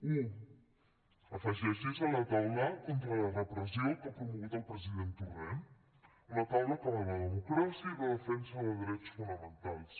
u afegeixi’s a la taula contra la repressió que ha promogut el president torrent una taula que va de democràcia i de defensa de drets fonamentals